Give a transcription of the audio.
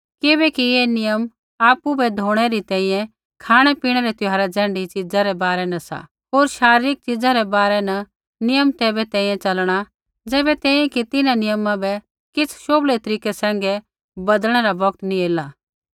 किबैकि ऐ नियम सिर्फ़ आपु बै धोणै री तैंईंयैं खाँणैपीणै त्यौहार ज़ैण्ढी च़ीज़ा रै बारै न सा होर शारीरिक च़ीज़ा रै बारै न नियम तैबै तैंईंयैं च़लणा ज़ैबै तैंईंयैं कि तिन्हां नियमा बै किछ़ शोभलै तरीकै सैंघै बदलनै रा बौगत नैंई ऐला